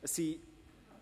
Es sind